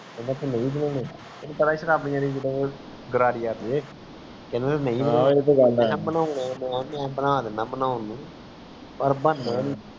ਕਹਿੰਦਾ ਤੂੰ ਨਹੀਂ ਬਣਾਉਣਾ ਤੈਨੂੰ ਪਤਾ ਸ਼ਰਾਬੀਆਂ ਦੀ ਜਿੰਦਾ ਗ੍ਰਾਰੀ ਅਡ ਜਾਇ ਮੈਂ ਕਿਹਾ ਬਣਾ ਦੀਨਾ ਬਨਉਣ ਨੂੰ ਪਰ ਬਣਨਾ ਨੀ